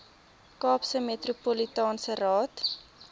kaapse metropolitaanse raad